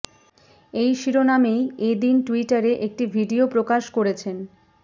এই শিরোনামেই এ দিন টুইটারে একটি ভিডিয়ো প্রকাশ করেছেন